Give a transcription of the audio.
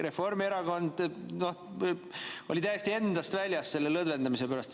Reformierakond oli täiesti endast väljas selle lõdvendamise pärast.